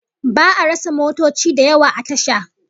Ba'a rasa motoci da yawa a tasha